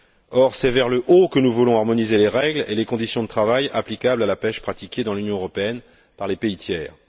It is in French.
Or, c'est vers le haut que nous voulons harmoniser les règles et les conditions de travail applicables à la pêche pratiquée dans l'Union européenne par les pays tiers.